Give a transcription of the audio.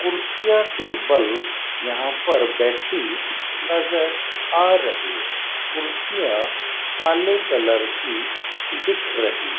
कुर्सियां टेबल यहां पर बैठी नजर आ रही कुर्सियां काले कलर की दिख रही --